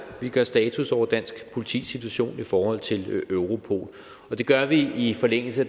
vi gør status over dansk politis situation i forhold til europol og det gør vi i forlængelse af